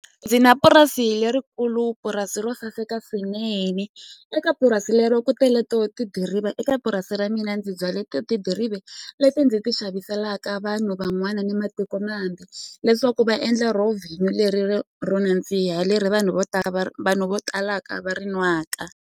Ndzi na purasi lerikulu purasi ro saseka swinene eka purasi lero ku tele to tidiriva eka purasi ra mina ndzi byale to tidiriva leti ndzi ti xaviselaka vanhu van'wana ni matikomambe leswaku va endla ro vhinyo leri ri ro nandziha leri vanhu vo tala va vanhu vo talaka va ri nwaka.